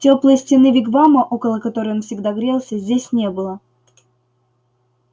тёплой стены вигвама около которой он всегда грелся здесь не было